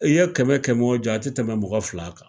I ye kɛmɛ kɛmɛw jɔ a te tɛmɛ mɔgɔ fila kan.